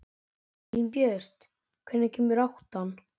Elínbjört, hvenær kemur áttan?